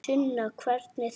Sunna: Hvernig þá?